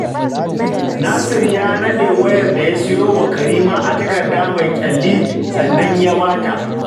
Nasir ya naɗe wayar da ya sayo wa Karima a takarda mai ƙyalli, sannan ya ba ta